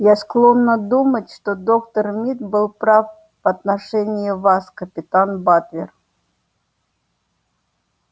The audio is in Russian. я склонна думать что доктор мид был прав в отношении вас капитан батлер